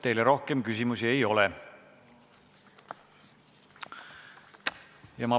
Teile rohkem küsimusi ei ole.